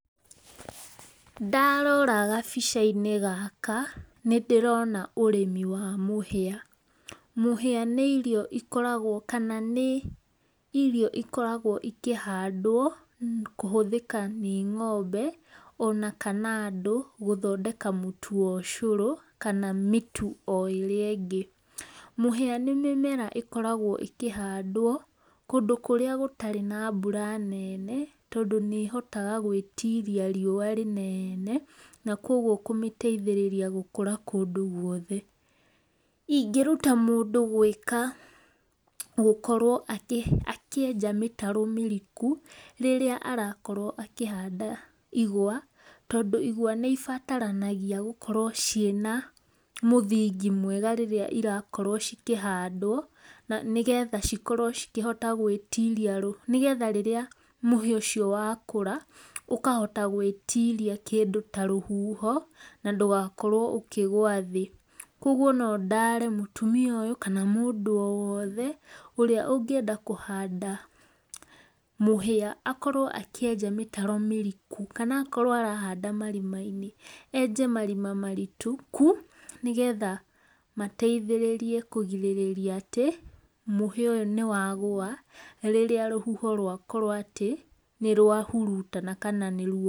Ndarora gabica inĩ gaka nĩndĩrona ũrĩmi wa mũhĩa. Mũhĩa nĩ irio ikoragwo kana nĩ irio ikoragwo ikĩhandwo kũhũthĩka nĩ ngombe o na kana andũ gũthondeka mũtu wa ũcoro kana mĩtu o ĩrĩa ĩngĩ. Mũhĩa nĩ mũmera ĩkĩhandwo kũndũ kũrĩa gũtarĩ na mbũra nene, tondũ nĩhotaga gwĩtiria rĩũa rĩnene na kũogwo kũmĩteĩthĩrĩra gũkũra kũndũ gũothe. Ingĩruta mũndũ gwĩka, gũkorwo akĩ akĩenja mĩtaro mĩrikũ rĩrĩa aragĩkorwo akĩhanda ĩgũa, tondũ ĩgũa nĩibataranagĩa gũkorwo cina mũthĩngi mwega rĩrĩa irakorwo cikĩhandwo nĩgetha cikorwo cikĩhote gwĩtiria, nĩgetha rĩrĩa mũhĩa ũcio wakũra ũkahota gwĩtiria kĩndũ ta rũhũho na ndũgakorwo ũkĩgũa thĩ kwogwo, no ndare mũtumia ũyũ kana mũndũ o wothe ũrĩa ũngĩenda kũhanda mũhĩa, akorwo akĩenja mĩtaro mĩriku, kana akoro arahanda marima-inĩ, enje marima maritĩkũ nĩgetha mateithĩe kũgĩrĩrĩa atĩ mũhĩa ũyũ nĩwagũa, rĩrĩa rũhũho rwakoro atĩ nĩrwahũrũtana kana...